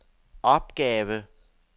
opgave